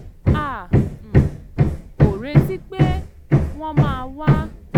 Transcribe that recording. a um ò retí pé wọ́n máa wá